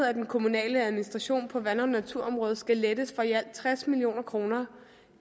at den kommunale administration på vand og naturområdet skal lettes for i alt tres million kroner